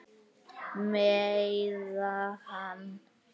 Meiða hana.